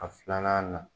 A filanan na